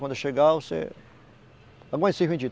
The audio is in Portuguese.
Quando eu chegar, você... Aguente esses vinte